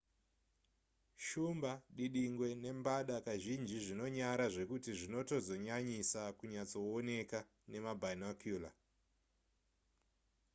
shumba dindingwe nembada kazhinji zvinonyara zvekuti zvinotozonyanyisa kunyatsooneka nemabinocular